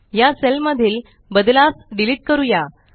या सेल मधीलबदलास डिलीट करूया